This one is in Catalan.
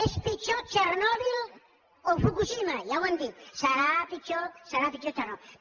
és pitjor txernòbil o fukushima ja ho han dit serà pitjor serà pitjor que txernòbil